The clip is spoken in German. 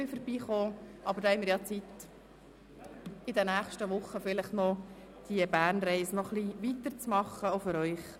Aber wir alle haben Zeit, die Bernreise in den nächsten Wochen vielleicht noch ein wenig weiterzuführen.